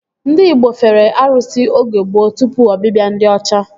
Ndị igbo fere arụsị oge gboo tụpụ ọbịbịa ndị ọcha